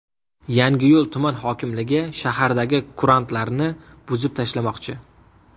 Yangiyo‘l tuman hokimligi shahardagi kurantlarni buzib tashlamoqchi.